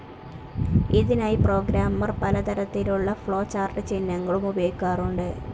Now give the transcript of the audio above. ഇതിനായി പ്രോഗ്രാം പലതരംത്തിലുള്ള ഫ്ലോചാർട്ട്‌ ചിഹ്നങ്ങളും ഉപയോഗിക്കാറുണ്ട്.